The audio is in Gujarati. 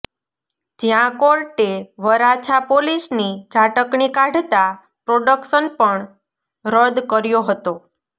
જ્યાં કોર્ટે વરાછા પોલીસની ઝાટકણી કાઢતા પ્રોડકશન પણ રદ્દ કર્યો હતો